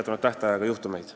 Aitäh!